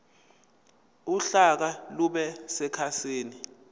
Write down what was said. uhlaka lube sekhasini